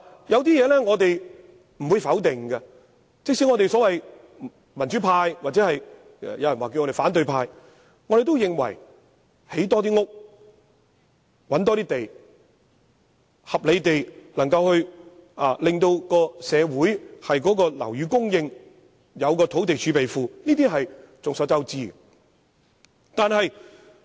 有些事情我們不會否定，即使我們這些民主派或別人稱為反對派的人士，也會認為多建房屋，尋覓更多土地，合理地保持社會的樓宇供應，並設立土地儲備庫，是眾所周知應當實行的措施。